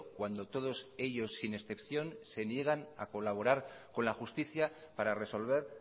cuando todos ellos sin excepción se niegan a colaborar con la justicia para resolver